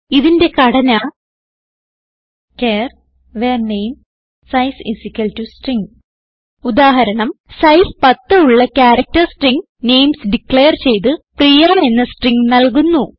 ഇതിന്റെ ഘടന char var namesize string ഉദാഹരണം സൈസ് 10 ഉള്ള ക്യാരക്ടർ സ്ട്രിംഗ് നെയിംസ് ഡിക്ലയർ ചെയ്ത് പ്രിയ എന്ന സ്ട്രിംഗ് നല്കുന്നു